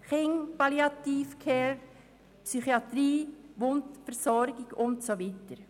Kind, Palliativ Care, Psychiatrie, Wundversorgung und so weiter.